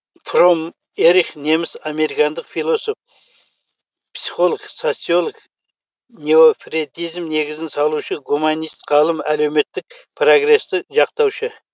фромм эрих неміс американдық философ психолог социолог неофрейдизм негізін салушы гуманист ғалым әлеуметтік прогресті жақтаушы